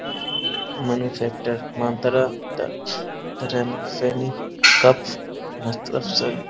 Manu centre मान्तरा train सैनी cup --